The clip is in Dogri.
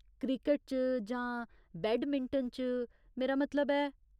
क्रिकट च, जां बैडमिंटन च, मेरा मतलब ऐ।